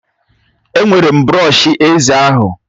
Ewere m brọsh eze ahụ